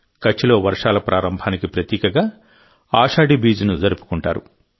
కచ్లో వర్షాల ప్రారంభానికి ప్రతీకగా ఆషాఢీ బీజ్ను జరుపుకుంటారు